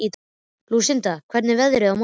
Lúsinda, hvernig er veðrið á morgun?